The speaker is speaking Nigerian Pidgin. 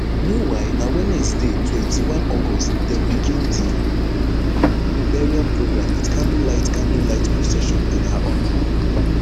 meanwhile na wednesday twenty-one august dem begin di burial program wit candlelight candlelight procession in her honour